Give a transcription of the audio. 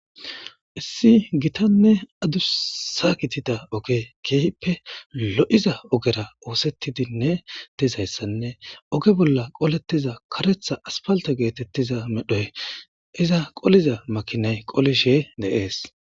issi gitanne adu sa kitida oge keehippe lo7iza ogera oosettidinne tizayssanne oge bolla qolettiza karetha aspalta geetettiza medhoy iza qoliza makinay qolishe de'es